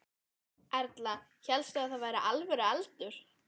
Erla: Hélstu að það væri alvöru eldur?